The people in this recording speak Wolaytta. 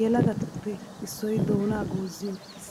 Yelagattuppe issoy doonaa goozi uttiis.